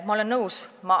Ma olen nõus.